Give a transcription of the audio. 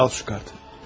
Al bu kartı.